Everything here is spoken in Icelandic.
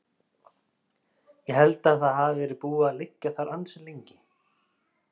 Ég held að það hafi verið búið að liggja þar ansi lengi.